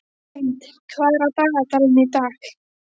Hind, hvað er á dagatalinu í dag?